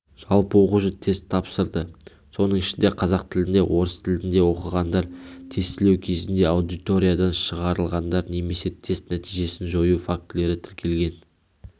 жалпы оқушы тест тапсырды соның ішінде қазақ тілінде орыс тілінде оқығандар тестілеу кезінде аудиториядан шығарылғандар немесе тест нәтижесін жою фактілері тіркелген